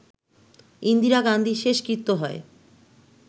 ইন্দিরা গান্ধীর শেষকৃত্য হয়